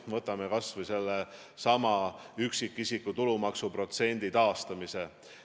Võtame kas või sellesama üksikisiku tulumaksu protsendi taastamise.